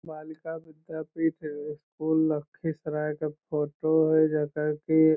बालिका विद्यापीठ है | ये स्कूल लखीसराय का फ़ोटो है जैसा की --